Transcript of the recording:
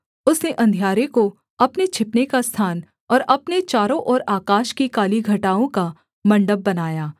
उसने अंधियारे को अपने छिपने का स्थान और अपने चारों ओर आकाश की काली घटाओं का मण्डप बनाया